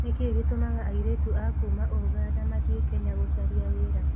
Nĩ kĩĩ gĩtũmaga airĩtu a kuuma Uganda mathiĩ Kenya gũcaria wĩra?